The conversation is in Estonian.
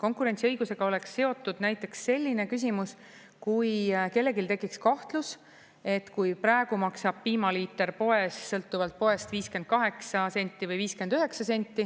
Konkurentsiõigusega oleks seotud näiteks selline küsimus, kui kellelgi tekiks kahtlus, et kui praegu maksab piimaliiter poes sõltuvalt poest 58 senti või 59 senti,